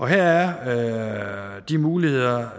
her er de muligheder